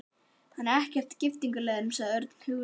Hann er ekkert í giftingarhugleiðingum, sagði Örn hughreystandi.